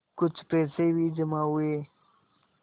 कुछ पैसे भी जमा हुए